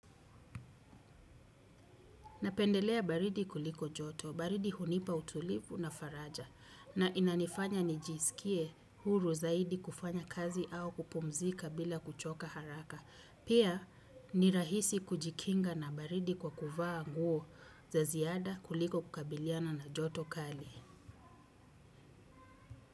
Napendelea baridi kuliko joto, baridi hunipa utulivu na faraja na inanifanya nijiskie huru zaidi kufanya kazi au kupumzika bila kuchoka haraka. Pia ni rahisi kujikinga na baridi kwa kuvaa anguo za ziada kuliko kukabiliana na joto kali.